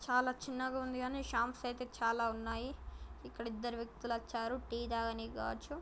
చాలా చిన్నగుంది గాని షాంప్స్ అయితే చాలా ఉన్నాయి ఇక్కడ ఇద్దరు వ్యక్తులు వచ్చారు టీ తాగనీకి కావచ్చు.